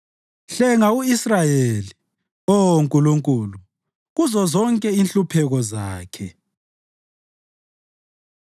Hlenga u-Israyeli, Oh Nkulunkulu, kuzozonke inhlupheko zakhe.